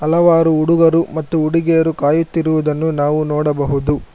ಹಲವಾರು ಹುಡುಗರು ಮತ್ತು ಹುಡುಗಿಯರು ಕಾಯುತ್ತಿರುವುದನ್ನು ನಾವು ನೋಡಬಹುದು.